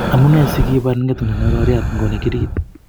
Amenei si kibar ng'etundo ne roriat ngo ne kirgit?